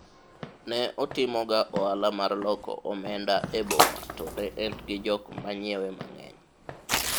ne otimoga ohala mar loko omenda e boma to ne en gi jok manyiewe mang'eny